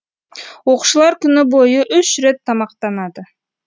оқушылар күні бойы үш рет тамақтанады